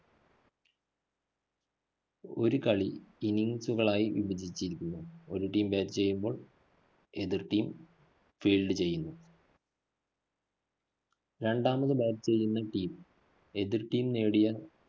ഒരു കളി innings കളായി വിഭജിച്ചിരിക്കുന്നു. ഒരു teambat ചെയ്യുമ്പോള്‍ എതിര്‍ teamfeild ചെയ്യുന്നു. രണ്ടാമത് bat ചെയ്യുന്ന team എതിര്‍ team നേടിയ